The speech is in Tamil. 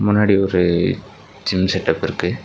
முன்னாடி ஒரு ஜிம் செட் டப் இருக்கு.